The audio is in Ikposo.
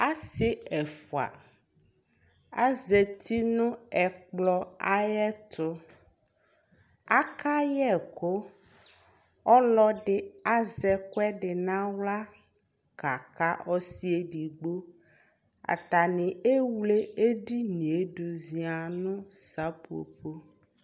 asi ɛfua azati no ɛkplɔ ayi ɛto aka yɛ ɛkò ɔlò ɛdi azɛ ɛkò ɛdi n'ala ka ka ɔsi yɛ edigbo atani ewle edini yɛ do zia no seƒoƒo